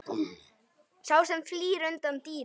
Sá sem flýr undan dýri.